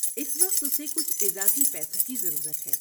اس وقت، اسے کچھ اضافی پیسوں کی ضرورت ہے۔